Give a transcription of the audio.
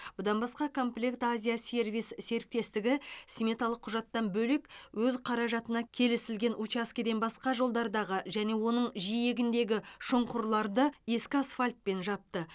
бұдан басқа комплект азия сервис серіктестігі сметалық құжаттан бөлек өз қаражатына келісілген учаскеден басқа жолдардағы және оның жиегіндегі шұңқырларды ескі асфальтпен жапты